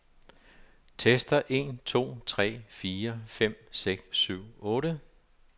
Tester en to tre fire fem seks syv otte.